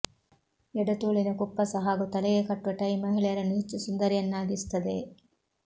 ಎಡತೋಳಿನ ಕುಪ್ಪಸ ಹಾಗೂ ತಲೆಗೆ ಕಟ್ಟುವ ಟ್ಟೆ ಮಹಿಳೆಯರನ್ನು ಹೆಚ್ಚು ಸುಂದರಿಯರನ್ನಾಗಿಸುತ್ತದೆ